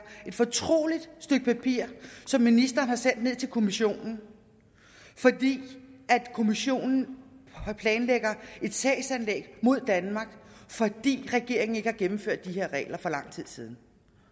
fortroligt som ministeren har sendt ned til kommissionen fordi kommissionen planlægger et sagsanlæg mod danmark fordi regeringen ikke har gennemført de her regler for lang tid siden